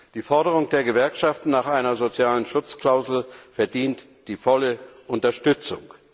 Die Forderung der Gewerkschaft nach einer sozialen Schutzklausel verdient die volle Unterstützung.